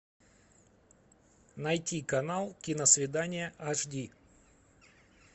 найти канал киносвидание аш ди